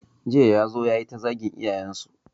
Jiya ya zo ya yi ta zagin iyayensu.